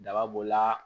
Daba b'o la